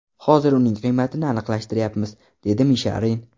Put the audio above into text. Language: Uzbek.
Hozir uning qiymatini aniqlashtiryapmiz”, dedi Misharin.